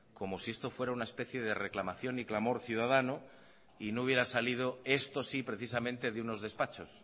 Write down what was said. como si esto fuera una especie de reclamación y clamor ciudadano y no hubiera salido esto sí precisamente de unos despachos